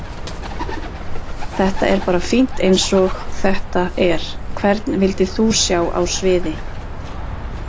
Þetta er bara fínt eins og þetta er Hvern vildir þú sjá á sviði?